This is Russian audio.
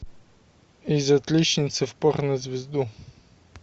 из отличницы в порно звезду